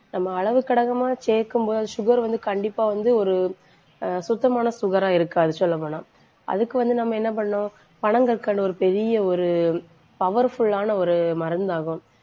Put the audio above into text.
நம்ம அளவு கடகமாக சேர்க்கும் போது sugar வந்து கண்டிப்பா வந்து ஒரு ஆஹ் சுத்தமான sugar ஆ இருக்காது சொல்லப் போனால் அதுக்கு வந்து நம்ம என்ன பண்ணணும்? பனங்கற்கண்டு ஒரு பெரிய ஒரு powerful ஆன மருந்தாகும்.